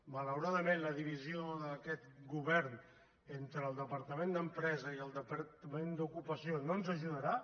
malauradament la divisió d’aquest govern entre el departament d’empresa i el departament d’ocupació no ens ajudarà